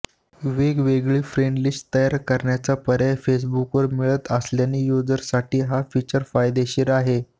वेगवेगळी friend list तयार करण्याचा पर्याय फेसबुकवर मिळत असल्याने युजर्ससाठी हे फीचर फायदेशीर आहे